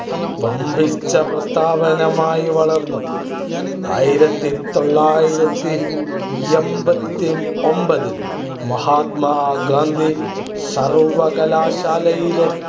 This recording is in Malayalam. വൻപിച്ച പ്രസ്ഥാനമായി വളർന്നു. ആയിരത്തി തൊള്ളായിരത്തി എൺപത്തി ഒൻപതിൽ മഹാത്മാഗാന്ധി സർവ്വകലാശാലയിലെ